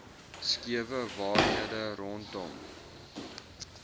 skewe waarhede rondom